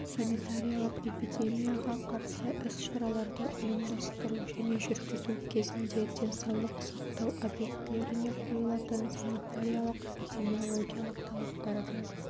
санитариялық-эпидемияға қарсы іс-шараларды ұйымдастыру және жүргізу кезінде денсаулық сақтау объектілеріне қойылатын санитариялық-эпидемиологиялық талаптарды